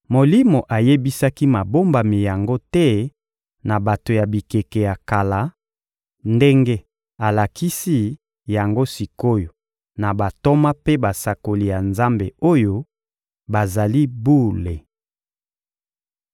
Molimo ayebisaki mabombami yango te na bato ya bikeke ya kala, ndenge alakisi yango sik’oyo na bantoma mpe basakoli ya Nzambe oyo bazali bule.